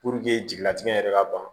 jigilatigɛ yɛrɛ ka ban